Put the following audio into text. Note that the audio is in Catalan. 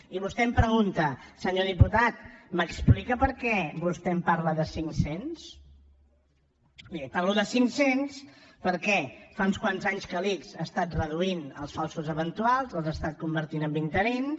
i vostè em pregunta senyor diputat m’explica per què vostè em parla de cinc cents li parlo de cinc cents perquè fa uns quants anys que l’ics ha estat reduint els falsos eventuals els ha estat convertint en interins